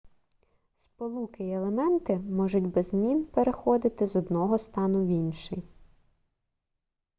сполуки й елементи можуть без змін переходити з одного стану в інший